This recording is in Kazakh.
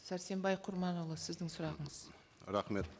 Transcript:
сәрсенбай құрманұлы сіздің сұрағыңыз рахмет